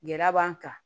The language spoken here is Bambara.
Gɛlɛya b'an kan